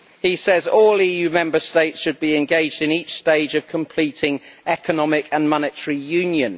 He says all EU Member States should be engaged in each stage of completing economic and monetary union.